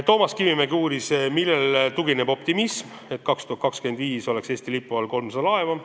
Toomas Kivimägi uuris, millele tugineb optimism, et aastaks 2025 on Eesti lipu all 300 laeva.